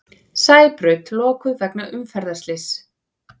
Sæbraut lokuð vegna umferðarslyss